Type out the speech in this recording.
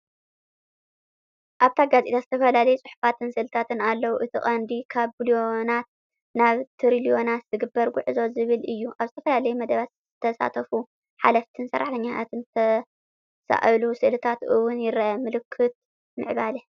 ኣብታ ጋዜጣ ዝተፈላለዩ ጽሑፋትን ስእልታትን ኣለዉ። እቲ ቀንዲ "ካብ ቢልዮናት ናብ ትሪልዮናት ዝግበር ጉዕዞ" ዝብል እዩ። ኣብ ዝተፈላለዩ መደባት ዝተሳተፉ ሓለፍቲን ሰራሕተኛታትን ዝተሳእሉ ስእልታት እውን ይርአ። ምልክት ምዕባለ!